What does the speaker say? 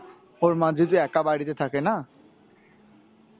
ওর মা যদি একা বাড়িতে থাকে না,